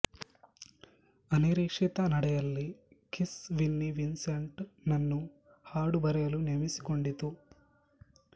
ಅನಿರೀಕ್ಷಿತ ನಡೆಯಲ್ಲಿ Kiss Vinnie Vincent ನನ್ನು ಹಾಡು ಬರೆಯಲು ನೇಮಿಸಿಕೊಂಡಿತು